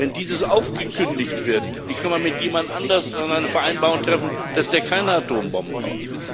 Wenn dies aufgekündigt wird, wie kann man mit jemand anderem dann eine Vereinbarung treffen, dass der keine Atombomben baut?